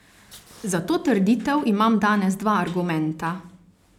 Za to trditev imam danes dva argumenta.